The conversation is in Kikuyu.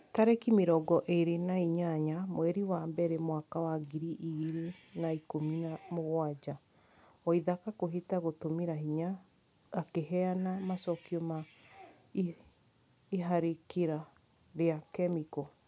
Tarĩki mĩrongo ĩrĩ na nyanya mweri wa mbere mwaka wa ngiri igĩrĩ na ikũmi na mũgwanja waithaka kwihita gũtũmĩra hinya akĩheana macokio ma iharĩkĩra rĩa kemiko